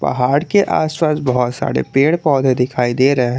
पहाड़ के आस पास बहुत सारे पेड़ पौधे दिखाई दे रहे है।